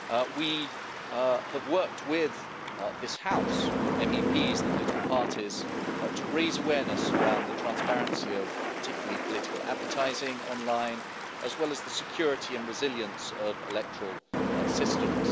We have worked with this house, MEPs and the political parties to raise awareness around the transparency of particularly political advertising online as well as the security and resilience of electoral systems.